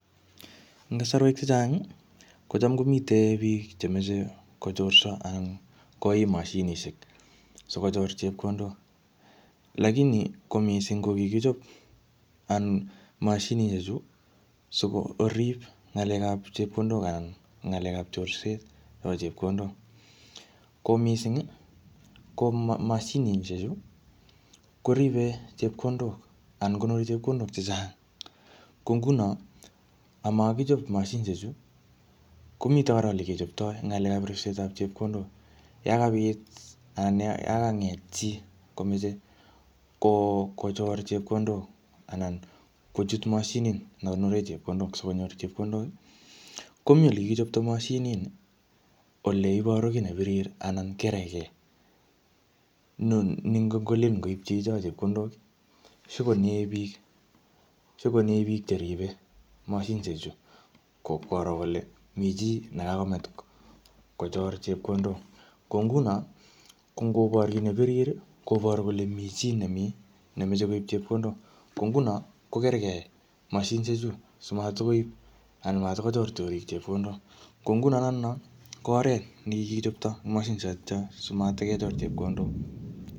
Neserwek chechang, kocham komite biik che meche kochorso anan koim mashinishek sikochor chepondok. Lakini ko missing ko kikichop anan mashinishek chu, sikorip ng'akelap chepkodok anan ng'alekap chorset nebo chepkondok. Ko missing, ko ma-mashinishek chu, koribe chepkondok anan konori chepkondok chechang. Ko nguno, amakichop mashinishek chu, komite kora ole kechoptoi ng'alekap ripsetap chepkondok. Yakabit anan yakang'et chii komeche kochor chepkondok anan kochut mashinit nekonore chepkondok skonyor chepkondok, komii ole kikichopto mashinit nii, ole iboru kiy ne birir anan kereke. Ni-ni ngongolen koip chicho chepkondok, shikonae biik-shikonae biik cheribe mashinishek chu ko ipkoro kole mii chii nekakomach kochor chepkondok. Ko nguno, ko ngobor kiy ne birir, koboru kole mii chii nemii, nemeche koip chepkondok. Ko nguno, ko keregei mashinshek chuu simatkoib anan matkochor chorik chepkondok. Ko nguno notono, ko oret nekikichopto mashinishek chotocho simatkechor chepkondok.